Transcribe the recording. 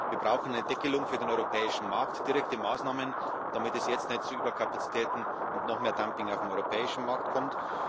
Wir brauchen eine Deckelung für den europäischen Markt, direkte Maßnahmen, damit es jetzt nicht zu Überkapazitäten und noch mehr Dumping auf dem europäischen Markt kommt.